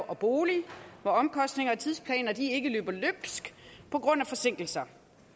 og bolig hvor omkostninger og tidsplaner ikke ikke løber løbsk på grund af forsinkelser